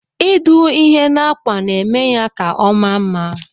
Idụ ihe na akwa na emeya ka ọma mma.